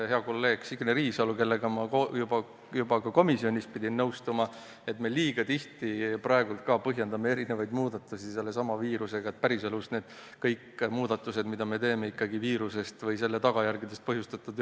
Hea kolleeg Signe Riisalo märkis ja ma pidin temaga juba komisjonis nõustuma, et me liiga tihti põhjendame muudatusi sellesama viirusega, aga päriselus pole sugugi kõik muudatused, mida me teeme, viiruse tagajärgedest põhjustatud.